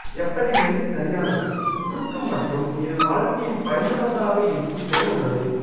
எப்படி எண் சரியானது சுற்றுக்கு மற்றும் இது வாழ்க்கையில் பயனுள்ளதாக இருக்கும் திறன் உள்ளது